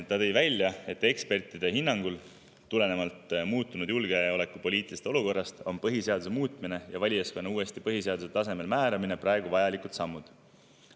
Ta tõi välja, et ekspertide hinnangul on tulenevalt muutunud julgeolekupoliitilisest olukorrast põhiseaduse muutmine ja valijaskonna uuesti põhiseaduse tasemel kindlaksmääramine praegu vajalikud sammud.